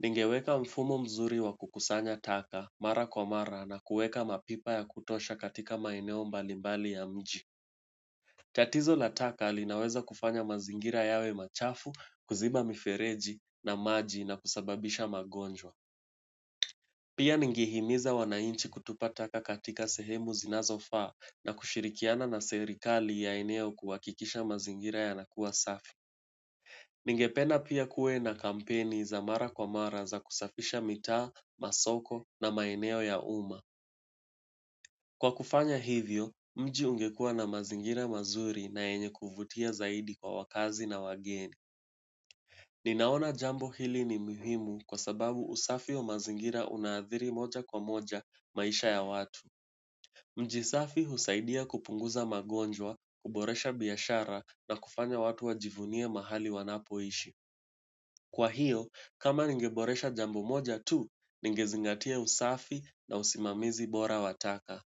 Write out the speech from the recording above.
Ningeweka mfumo mzuri wa kukusanya taka mara kwa mara na kueka mapipa ya kutosha katika maeneo mbalimbali ya mji. Tatizo la taka linaweza kufanya mazingira yawe machafu, kuziba mifereji na maji na kusababisha magonjwa. Pia ningehimiza wanainchi kutupa taka katika sehemu zinazofaa na kushirikiana na serikali ya eneo kuhakikisha mazingira yanakuwa safi. Ningependa pia kuwe na kampeni za mara kwa mara za kusafisha mita, masoko na maeneo ya uma. Kwa kufanya hivyo, mji ungekua na mazingira mazuri na yenye kuvutia zaidi kwa wakazi na wageni. Ninaona jambo hili ni muhimu kwa sababu usafi wa mazingira unaadhiri moja kwa moja maisha ya watu. Mjisafi husaidia kupunguza magonjwa, huboresha biashara na kufanya watu wajivunie mahali wanapoishi. Kwa hiyo, kama ningeboresha jambo moja tu, ningezingatia usafi na usimamizi bora wa taka.